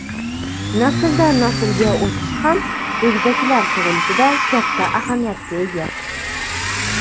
Nasldan-naslga o‘tish ham egizaklar tug‘ilishida katta ahamiyatga ega.